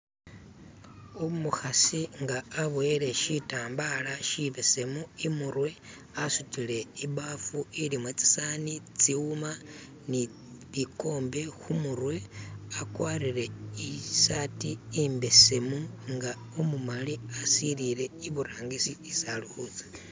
Umukhasi nga aboyele shitambala shibesemu imurwe asutile ibbafu ilimo tsisowani, tsiwuma ni bikombe kumurwe wakwarire isati imbesemu nga umumali, walolele iburangisi isi alikutsa.